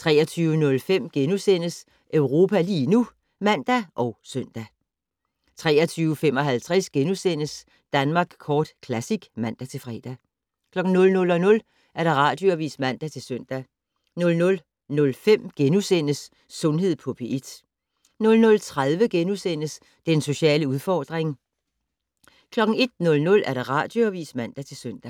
23:05: Europa lige nu *(man og søn) 23:55: Danmark Kort Classic *(man-fre) 00:00: Radioavis (man-søn) 00:05: Sundhed på P1 * 00:30: Den sociale udfordring * 01:00: Radioavis (man-søn)